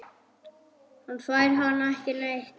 Hann fær hana ekki neitt!